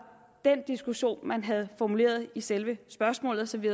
den diskussion man havde formuleret i selve spørgsmålet så vi